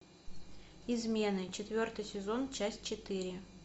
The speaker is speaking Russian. измены четвертый сезон часть четыре